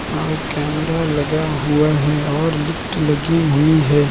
और कैमरा लगा हुआ है और लिफ्ट लगी हुई है।